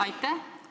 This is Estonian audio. Aitäh!